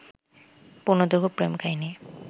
পূর্ণদৈর্ঘ্য প্রেম কাহিনী